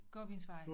Gåbensevej